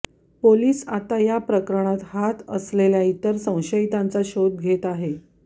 police आता या प्रकरणात हात असलेल्या इतर संशयितांचा शोध घेत आहे